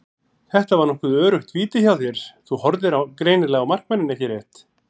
Þetta var nokkuð öruggt víti hjá þér, þú horfðir greinilega á markmanninn ekki rétt?